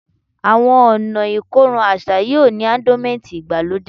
Awọn ọna ikorun aṣa yoo ni ardonment igbalode